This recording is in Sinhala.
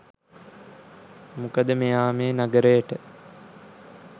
මොකද මෙයා මේ නගරයට